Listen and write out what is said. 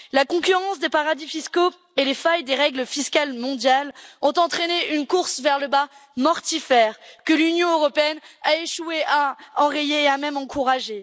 La concurrence des paradis fiscaux et les failles des règles fiscales mondiales ont entraîné une course vers le bas mortifère, que l'Union européenne a échoué à enrayer, et a même encouragée.